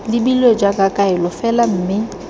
lebilwe jaaka kaelo fela mme